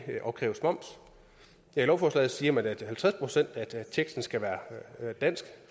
opkræves moms ja i lovforslaget siger man at halvtreds procent af teksten skal være dansk